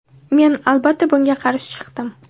Men, albatta, bunga qarshi chiqdim.